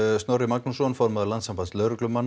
Snorra Magnússon formann Landssambands lögreglumanna